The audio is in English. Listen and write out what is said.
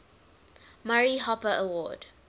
murray hopper award